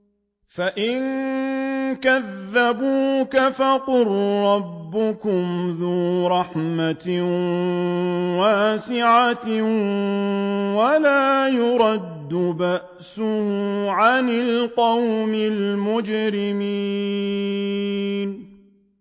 فَإِن كَذَّبُوكَ فَقُل رَّبُّكُمْ ذُو رَحْمَةٍ وَاسِعَةٍ وَلَا يُرَدُّ بَأْسُهُ عَنِ الْقَوْمِ الْمُجْرِمِينَ